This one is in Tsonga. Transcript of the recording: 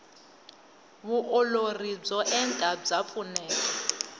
vuolori byo enta bya pfuneta